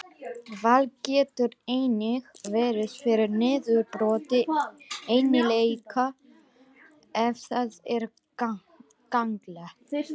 Val getur einnig verið fyrir niðurbroti eiginleika ef það er gagnlegt.